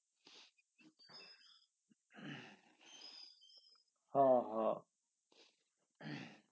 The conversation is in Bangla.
হ হ